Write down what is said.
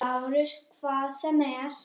LÁRUS: Hvað sem er.